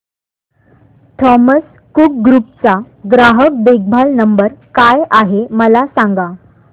Thomas Cook group चा ग्राहक देखभाल नंबर काय आहे मला सांगा